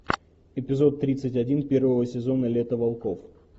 эпизод тридцать один первого сезона лето волков